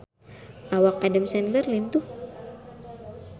Awak Adam Sandler lintuh